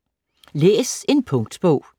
Læs en punktbog